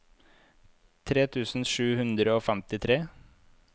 tre tusen sju hundre og femtitre